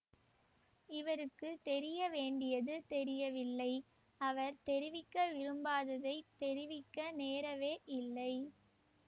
இவருக்குத் தெரிய வேண்டியது தெரியவில்லை அவர் தெரிவிக்க விரும்பாததைத் தெரிவிக்க நேரவே இல்லை